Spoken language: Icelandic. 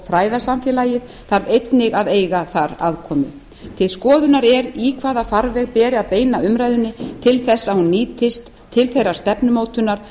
fræðasamfélagið þarf einnig að eiga þar aðkomu til skoðunar er í hvaða farveg beri að beina umræðunni til þess að hún nýtist til þeirrar stefnumótunar